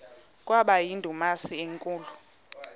kwaba yindumasi enkulu